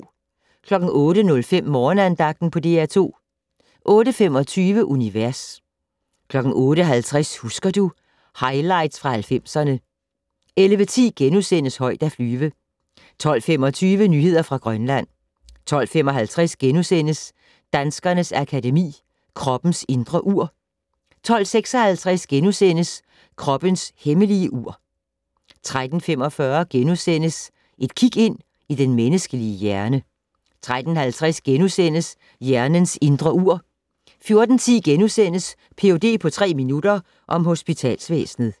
08:05: Morgenandagten på DR2 08:25: Univers 08:50: Husker du ... highlights fra 90'erne 11:10: Højt at flyve * 12:25: Nyheder fra Grønland 12:55: Danskernes Akademi: Kroppens indre ur * 12:56: Kroppens hemmelige ur * 13:45: Et kig ind i den menneskelige hjerne * 13:50: Hjernens indre ur * 14:10: Ph.d. på tre minutter - om hospitalsvæsenet *